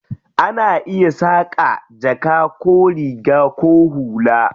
Ana iya saƙa jaka ko riga ko hula.